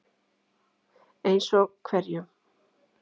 Eins og hverjum?